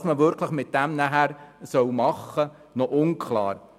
Was man dann damit wirklich machen soll, ist noch unklar.